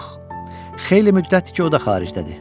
Yox, xeyli müddətdir ki, o da xaricdədir.